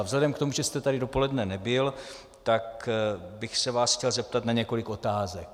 A vzhledem k tomu, že jste tady dopoledne nebyl, tak bych se vás chtěl zeptat na několik otázek.